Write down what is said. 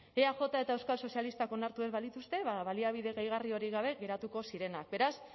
eaj eta euskal sozialistak onartu ez balituzte baliabide gehigarri horiek gabe geratuko zirenak beraz